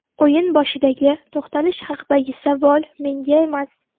O‘yin boshidagi to‘xtalish haqidagi savol menga emas.